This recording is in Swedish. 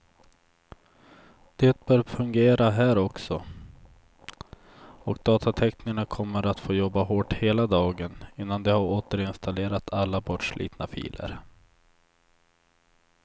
Det bör fungera här också, och datateknikerna kommer att få jobba hårt hela dagen innan de har återinstallerat alla bortslitna filer.